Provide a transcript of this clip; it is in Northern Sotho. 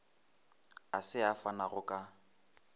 a se a fanago ka